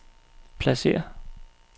pladsér